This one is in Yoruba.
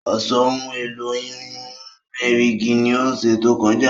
Ó sọ ohun èlò ìyún erìgì ní ọ̀sẹ̀ tó kọjá